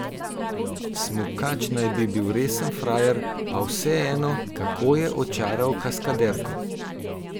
Smukač naj bi bil resen frajer, pa vseeno, kako je očaral kaskaderko?